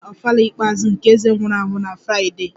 A ga-eme ofala ikpeazụ nke eze nwụrụ anwụ na Fraịdee